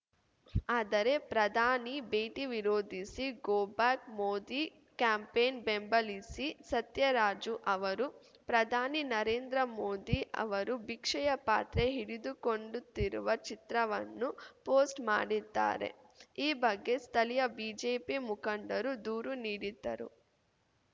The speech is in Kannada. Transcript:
ಆದರೆ ಪ್ರಧಾನಿ ಭೇಟಿ ವಿರೋಧಿಸಿ ಗೋಬ್ಯಾಕ್‌ ಮೋದಿ ಕ್ಯಾಂಪೇನ್‌ ಬೆಂಬಲಿಸಿ ಸತ್ಯರಾಜು ಅವರು ಪ್ರಧಾನಿ ನರೇಂದ್ರ ಮೋದಿ ಅವರು ಭಿಕ್ಷೆಯ ಪಾತ್ರೆ ಹಿಡಿದುಕೊಂಡುಂತಿರುವ ಚಿತ್ರವನ್ನು ಪೋಸ್ಟ್‌ ಮಾಡಿದ್ದಾರೆ ಈ ಬಗ್ಗೆ ಸ್ಥಳೀಯ ಬಿಜೆಪಿ ಮುಖಂಡರು ದೂರು ನೀಡಿದ್ದರು